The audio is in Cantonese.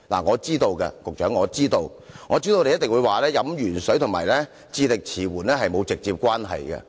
局長，我知道你一定會說飲鉛水和智力遲緩沒有直接關係。